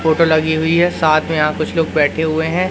Photo लगी हुई है साथ में यहां कुछ लोग बैठे हुए हैं।